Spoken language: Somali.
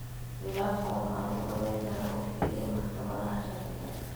Khilaafkan waxa lagu dhamayn karaa oo keliya maxkamadaha sharciga.